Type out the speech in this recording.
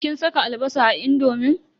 Kin saka albasa a indomin?